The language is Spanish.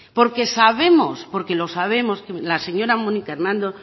porque sabemos porque lo sabemos que la señora mónica hernando